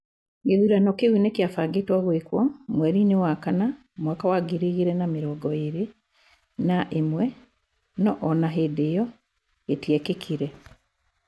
Gĩthurano kĩu nĩ kĩabangĩtwo gũĩkwa mweri-inĩ wa kana mwaka wa ngiri igĩrĩ na mĩrongo ĩrĩ na ĩmwe no o na hĩndĩ ĩo gĩtĩekĩkire.